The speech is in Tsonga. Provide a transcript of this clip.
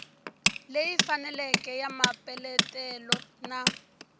leyi faneleke ya mapeletelo na